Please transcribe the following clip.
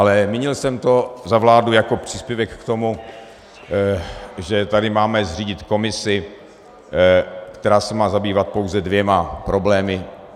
Ale mínil jsem to za vládu jako příspěvek k tomu, že tady máme zřídit komisi, která se má zabývat pouze dvěma problémy.